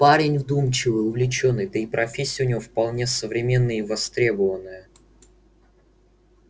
парень вдумчивый увлечённый да и профессия у него вполне современная и востребованная